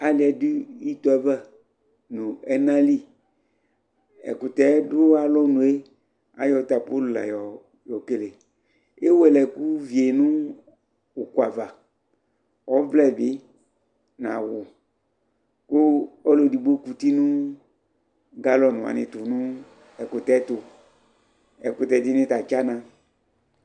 aliɛ dʋ itɔɛ aɣa nʋ ɛna li ɛkʋtɛ dʋ alɔnʋɛ, ayɔ tapɔli layɔ kɛlɛ, ɛwɛlɛ ɛkʋ viɛ nʋ ʋkʋ aɣa, ɔvlɛ bi nʋ awʋ kʋ ɔlʋ ɛdigbɔ kʋti nʋ gallon wani ɛtʋ nʋ ɛkʋtɛ tʋ, ɛkʋtɛ dini ta atsana